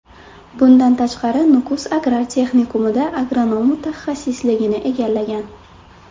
Bundan tashqari, Nukus agrar texnikumida agronom mutaxassisligini egallagan.